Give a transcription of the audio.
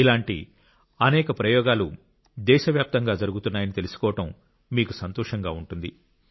ఇలాంటి అనేక ప్రయోగాలు దేశవ్యాప్తంగా జరుగుతున్నాయని తెలుసుకోవడం మీకు సంతోషంగా ఉంటుంది